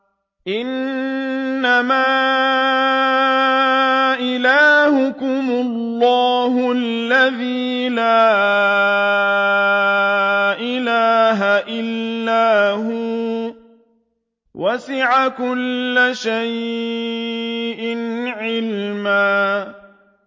إِنَّمَا إِلَٰهُكُمُ اللَّهُ الَّذِي لَا إِلَٰهَ إِلَّا هُوَ ۚ وَسِعَ كُلَّ شَيْءٍ عِلْمًا